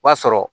O b'a sɔrɔ